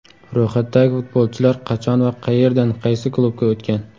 Ro‘yxatdagi futbolchilar qachon va qayerdan qaysi klubga o‘tgan?